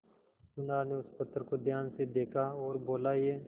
सुनार ने उस पत्थर को ध्यान से देखा और बोला ये